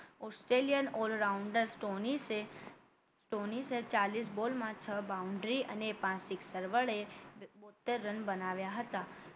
Australian all rounder સ્ટોનીસે ચ્યાલીશ બોલમાં છ boundary અને પાંચ sixer વડે બોતેર રન બનાવ્યા હતા